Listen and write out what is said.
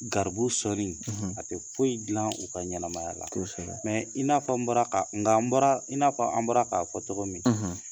Garibu sɔnni, a tɛ foyi dilan u ka ɲɛnamaya la, i n'a an bɔra k'a fɔ cɔgɔ min